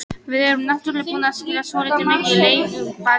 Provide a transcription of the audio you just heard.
Við erum náttúrulega búnar að spila svolítið mikið í Lengjubikarnum.